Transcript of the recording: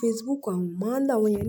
Facebook mo máa ń lo àwọn yẹn ni.